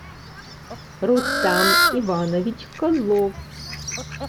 рустам иванович козлов